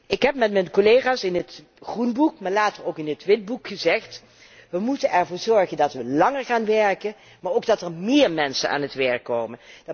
Ik heb met mijn collega's in het groenboek en later ook in het witboek gezegd wij moeten ervoor zorgen dat wij langer gaan werken, maar ook dat er méér mensen aan het werk komen.